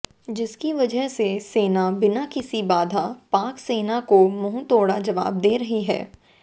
जिसकी वजह से सेना बिना किसी बाधा पाक सेना को मुंहतोड़ जवाब दे रही है